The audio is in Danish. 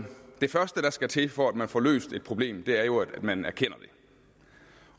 det første der skal til for at man får løst et problem er jo at man erkender det